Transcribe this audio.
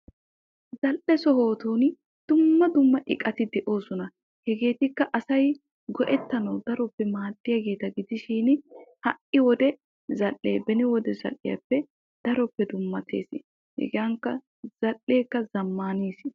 Zal'ee sohottun dumma dumma buquratti de'osonna yaatin ha'i wodiya zal'ee beni wodee zal'iyaappe keehi zamaanis.